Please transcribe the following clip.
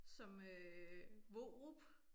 Som øh Vorup